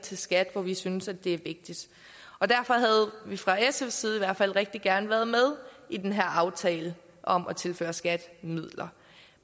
til skat hvor vi synes det er vigtigt derfor havde vi fra sfs side i hvert fald rigtig gerne været med i den her aftale om at tilføre skat midler